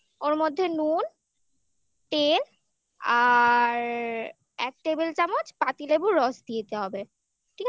ওর মধ্যে নুন তেল আর এক table চামচ পাতিলেবুর রস দিয়ে দিতে হবে ঠিক আছে